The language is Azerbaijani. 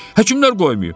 Həkimlər qoymayıb.